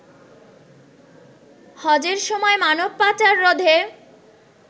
হজের সময় মানবপাচার রোধে